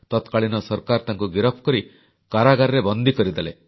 ତତ୍କାଳୀନ ସରକାର ତାଙ୍କୁ ଗିରଫ କରି କାରାଗାରରେ ବନ୍ଦୀ କରିଦେଲେ